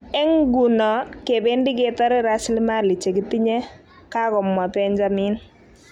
''Eng nguno kebendi ketore raslimali che kitinye,''kakomwa Benjamin.